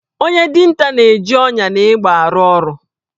Onye dinta na-eji ọnyà na egbe arụ ọrụ